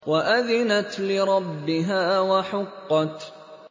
وَأَذِنَتْ لِرَبِّهَا وَحُقَّتْ